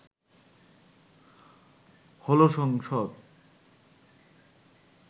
হলো সংসদ